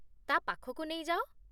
ତା' ପାଖକୁ ନେଇଯାଅ